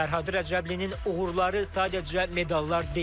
Fərhad Rəcəblinin uğurları sadəcə medallar deyil.